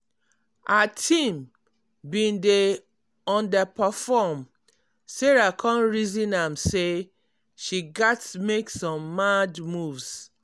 her team bin dey underperform sarah come reason am say she gats make some mad moves.